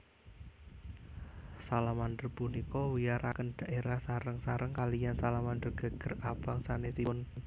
Salamander punika wiyaraken dhaérah sareng sareng kaliyan salamander geger abang sanesipun